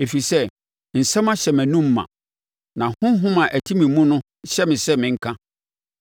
Ɛfiri sɛ, nsɛm ahyɛ mʼanomu ma, na honhom a ɛte me mu no hyɛ me sɛ menka;